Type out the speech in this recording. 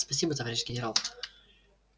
спасибо товарищ генерал